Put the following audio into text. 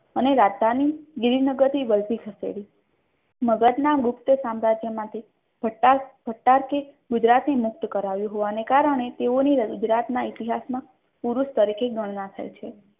અને રાજધાની ગીરી નગર થી વલભી ખસેડી મગધના ગુપ્ત સામ્રાજ્યમાંથી ગુજરાતને મુક્ત કરાવ્યું હોવાને કારણે તેઓની ગુજરાતના ઇતિહાસમાં વીર પુરુષ તરીકે ગણનાર થઈ છે.